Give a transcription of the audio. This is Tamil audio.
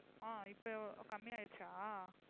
ஆஹ் இப்போ எவ்~ கம்மியா ஆயிடுச்சா?